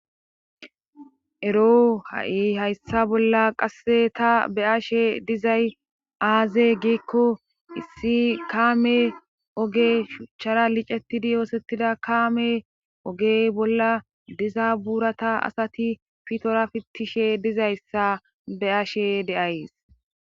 ero ha7i hayssa bolla qasse ta be ashe dizay aaze giikko issi kaame oge shuchchara licetidi yoosettida kaame ogey bolla diza buurata asati fitora fittishe dizayssa be ashe deays